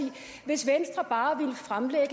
hvis venstre bare ville fremlægge